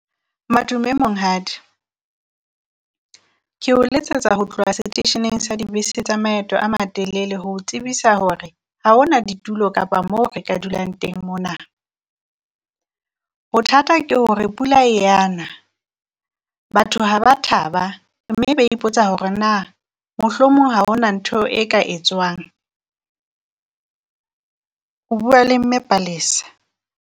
Madume Monghadi, ke o letsetsa ho tloha seteisheneng sa dibese tsa maeto a matelele, ho tsebisa hore ha hona ditulo kapa mo re ka dulang teng mona. Bothata ke hore pula e a na batho ha ba taba mme be ipotsa hore naa mohlomong ha hona ntho e ka e tswang. O bua le Mme Palesa.